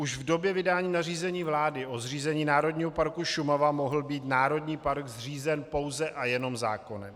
Už v době vydání nařízení vlády o zřízení Národního parku Šumava mohl být národní park zřízen pouze a jenom zákonem.